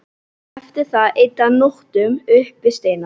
Eftir það eyddi hann nóttunum upp við steina.